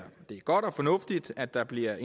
godt og fornuftigt at der bliver